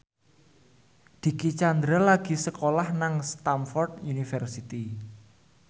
Dicky Chandra lagi sekolah nang Stamford University